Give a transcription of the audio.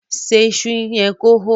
ṣe iṣu yen kò hó!